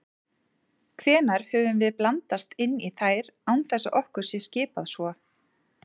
Hvenær höfum við blandast inn í þær án þess að okkur sé skipað svo?